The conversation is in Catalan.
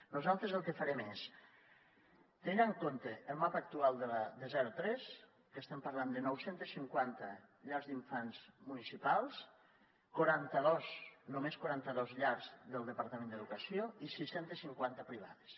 nosaltres el que farem és tenint en compte el mapa actual de zero tres que estem parlant de nou cents i cinquanta llars d’infants municipals quaranta dos només quaranta dos llars del departament d’educació i sis cents i cinquanta privades